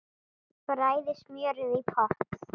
Bræðið smjörið í potti.